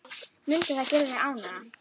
Mundi það gera þig ánægða?